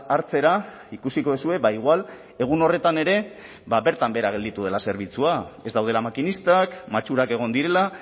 hartzera ikusiko duzue ba igual egun horretan ere bertan behera gelditu dela zerbitzua ez daudela makinistak matxurak egon direla